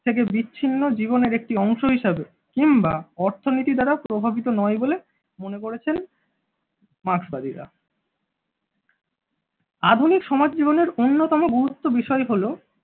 থেকে বিচ্ছিন্ন জীবনের একটি অংশ হিসেবে কিংবা অর্থনীতি দ্বারা প্রভাবিত নয় বলে মনে করেছেন। মার্কসবাদীরা আধুনিক সমাজ জীবনের অন্যতম গুরুত্ব বিষয় হলো